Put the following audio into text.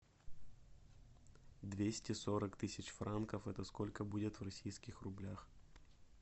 двести сорок тысяч франков это сколько будет в российских рублях